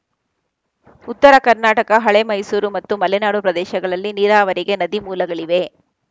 ಉತ್ತರ ಕರ್ನಾಟಕ ಹಳೇಮೈಸೂರು ಮತ್ತು ಮಲೆನಾಡು ಪ್ರದೇಶಗಳಲ್ಲಿ ನೀರಾವರಿಗೆ ನದಿ ಮೂಲಗಳಿವೆ